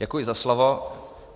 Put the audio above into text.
Děkuji za slovo.